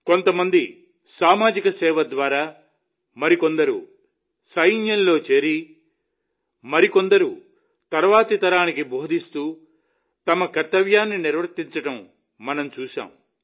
కొంత మంది సామాజిక సేవ ద్వారా మరికొందరు సైన్యంలో చేరి మరికొందరు తరువాతి తరానికి బోధిస్తూ తమ కర్తవ్యాన్ని నిర్వర్తించడం మనం చూశాం